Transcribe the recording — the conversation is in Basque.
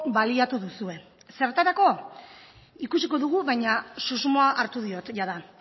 baliatu duzue zertarako ikusiko dugu baina susmoa hartu diot jada